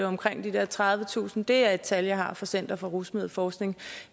omkring de der tredivetusind det er et tal jeg har fra center for rusmiddelforskning